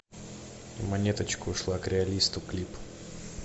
монеточка ушла к реалисту клип